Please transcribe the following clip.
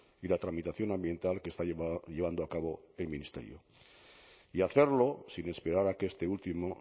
y la tramitación ambiental que está llevando a cabo el ministerio y hacerlo sin esperar a que este último